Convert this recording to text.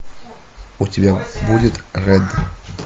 у тебя будет рэд